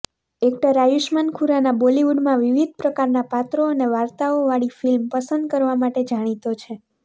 actor Ayushmann Khurrana બોલિવૂડમાં વિવિધ પ્રકારના પાત્રો અને વાર્તાઓવાળી ફિલ્મ પસંદ કરવા માટે જાણીતો છે